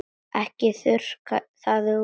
Ekki þurrka það út.